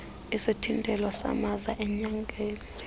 isithintelo samaza enyakeni